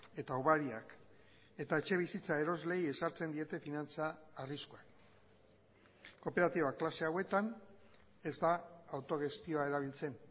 eta hobariak eta etxebizitza erosleei ezartzen diete finantza arriskuak kooperatiba klase hauetan ez da autogestioa erabiltzen